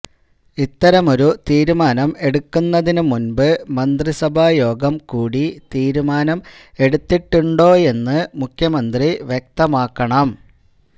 ഇത്തരമൊരു തീരുമാനം എടുക്കുന്നതിന് മുന്പ് മന്ത്രിസഭാ യോഗം കൂടി തീരുമാനം എടുത്തിട്ടുണ്ടോയെന്ന് മുഖ്യമന്ത്രി വ്യക്തമാക്കണം